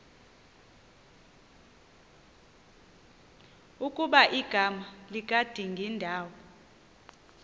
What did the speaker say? ukuba igama likadingindawo